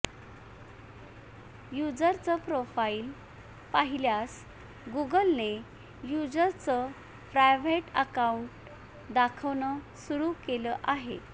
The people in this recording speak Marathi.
युजरचं प्रोफाईल पाहिल्यास गुगलने युजर्सचं प्रायव्हेट अकाउंट दाखवणं सुरू केलं आहे